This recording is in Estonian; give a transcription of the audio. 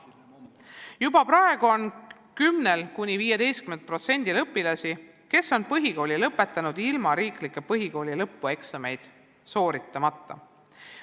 Juba praegu on 10–15% õpilasi, kes on põhikooli lõpetanud ilma riiklikke põhikooli lõpueksameid sooritamata.